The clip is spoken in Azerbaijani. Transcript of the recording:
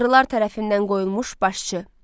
Tanrılar tərəfindən qoyulmuş başçı.